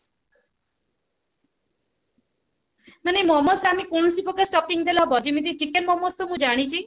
ମାନେ ମୋମୋସ ରେ ଆମେ କଣ ସବୁ ପ୍ରକାରେ stoppings ଦେଲେ ହେବ ଯେମିତି chicken ମୋମୋ ତ ମୁଁ ଜାଣିଛି